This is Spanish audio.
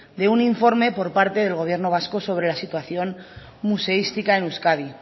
de un informe por parte del gobierno vasco sobre la situación museística en euskadi